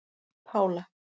Pála